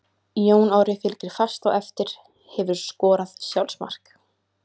Jón Orri fylgir fast á eftir Hefurðu skorað sjálfsmark?